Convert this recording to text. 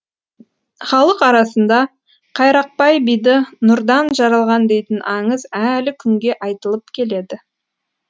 халық арасында қайрақбай биді нұрдан жаралған дейтін аңыз әлі күнге айтылып келеді